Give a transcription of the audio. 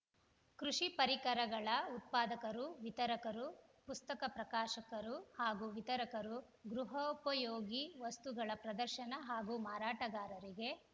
ಕೃಷಿ ಪರಿಕರಗಳ ಉತ್ಪಾದಕರು ವಿತರಕರು ಪುಸ್ತಕ ಪ್ರಕಾಶಕರು ಹಾಗೂ ವಿತರಕರು ಗೃಹೋಪಯೋಗಿ ವಸ್ತುಗಳ ಪ್ರದರ್ಶನ ಹಾಗೂ ಮಾರಾಟಗಾರರಿಗೆ